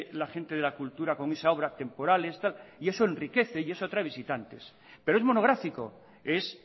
la gente de la cultura con esa obra temporales tal y eso enriquece y eso atrae visitantes pero es monográfico es